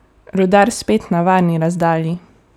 Rudar spet na varni razdalji!